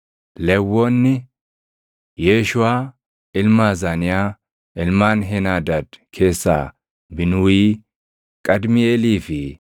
Lewwonni: Yeeshuuʼaa ilma Azaniyaa, ilmaan Heenaadaad keessaa Binuuyii, Qadmiiʼeelii fi